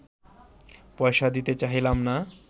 পয়সা দিতে চাহিলাম না